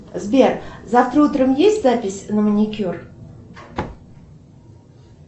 сбер завтра утром есть запись на маникюр